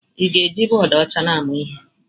Ị na-eji bọọdụ ọcha na-amụ ihe?